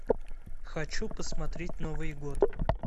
хочу посмотреть новый год